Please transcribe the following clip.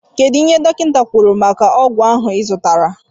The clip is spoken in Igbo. kedụ ihe dọkita kwụrụ maka ọgwụ ahụ izụtara?